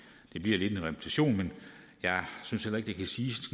det bliver lidt en repetition men jeg synes heller ikke at det kan siges